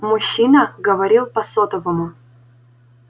мужчина говорил по сотовому